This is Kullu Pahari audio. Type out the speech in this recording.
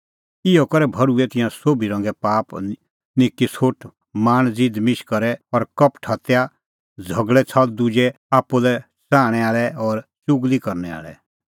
इहअ करै भर्हुऐ तिंयां सोभी रंगे पाप निक्की सोठ लाल़च़ ज़ीदमिश करै और कपट हत्या झ़गल़ै छ़ल़ दुजे च़िज़ा आप्पू लै च़ाहणैं आल़ै और च़ुगली करनै आल़ै